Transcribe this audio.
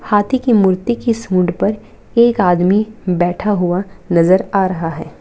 हाथी की मूर्ति की सूँड पर एक आदमी बैठा हुआ नजर आ रहा है।